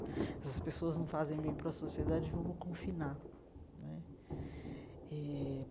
Essas pessoas não fazem bem para a sociedade, vamos confinar né eh.